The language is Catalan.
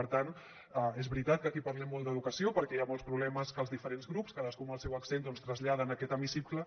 per tant és veritat que aquí parlem molt d’educació perquè hi ha molts problemes que els diferents grups cadascú amb el seu accent doncs traslladen en aquest hemicicle